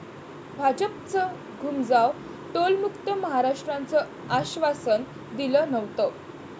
भाजपचं घूमजाव, टोलमुक्त महाराष्ट्राचं आश्वासन दिलं नव्हतं!